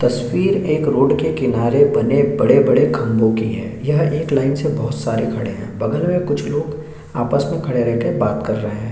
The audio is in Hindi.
तस्वीर एक रोड के किनारे बने बड़े-बड़े खंभों की हैं यह एक लाइन से बहुत सारे खड़े है बगल में कुछ लोग आपस में खड़े रह कर बात कर रहे हैं।